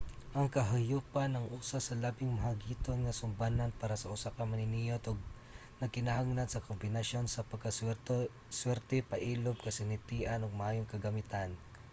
ang kahayupan ang usa sa labing mahagiton nga sumbanan para sa usa ka maniniyot ug nagkinahanglan sa kombinasyon sa pagkaswerte pailob kasinatian ug maayong kagamitan